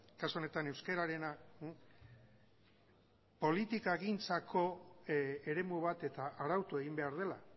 kasu honetan euskararena politikagintzako eremu bat eta arautu egin behar dela